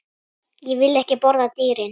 Ég vil ekki borða dýrin.